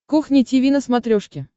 кухня тиви на смотрешке